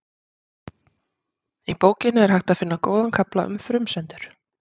Í bókinni er hægt að finna góðan kafla um frumsendur.